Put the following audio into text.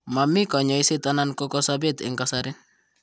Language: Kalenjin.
Momii kanyoiset anan ko kasobet eng' kasari.